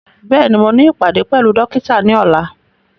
Bẹ́ẹ̀ni, mo ní ìpàdé pẹ̀lú dókítà ní ọ̀la